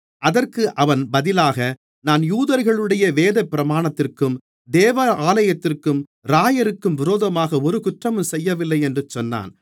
அதற்கு அவன் பதிலாக நான் யூதர்களுடைய வேதபிரமாணத்திற்கும் தேவாலயத்திற்கும் இராயருக்கும் விரோதமாக ஒரு குற்றமும் செய்யவில்லை என்று சொன்னான்